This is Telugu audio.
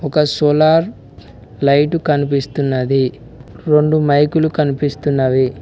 ఒక సోలార్ లైట్ కనిపిస్తున్నది రొండు మైకులు కనిపిస్తున్నవి.